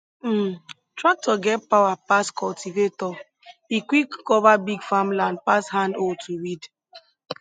um tractor get power pass cultivator e quick cover big farmland pass hand hoe to weed